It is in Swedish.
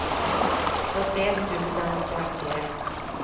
sjuttioett tusen femtioett